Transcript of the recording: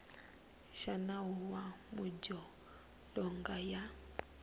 xa nawu wa madzolonga ya